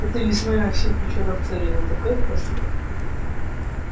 этой весной на всех вечерах царила такая тоска